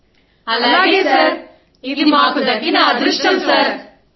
సమూహ స్వరం అలాగే సర్ ఇది మాకు దక్కిన అదృష్టం